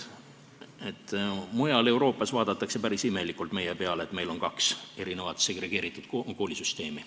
Mujal Euroopas vaadatakse päris imelikult meie peale, et meil on kaks segregeeritud koolisüsteemi.